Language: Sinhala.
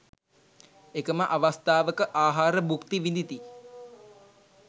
එකම අවස්ථාවක, ආහාර භුක්ති විඳිති.